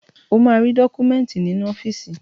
O máa rí dọ́kúmẹ́ńtì nínú ọ́fíìsì.